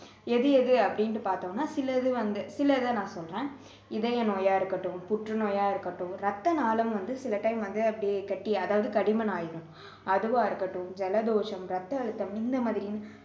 எது எது அப்படின்னு பார்த்தோம்னா சிலது வந்து சிலதை நான் சொல்றேன் இதய நோயா இருக்கட்டும் புற்று நோயா இருக்கட்டும் இரத்த நாளம் வந்து சில time வந்து அப்படியே கட்டியா அதாவது கடிமனாகிடும் அதுவா இருக்கட்டும் ஜலதோஷம் ரத்த அழுத்தம் இந்த மாதிரி